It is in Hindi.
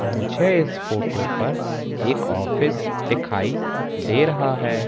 मुझे इस फोटो पर एक ऑफिस दिखाई दे रहा है।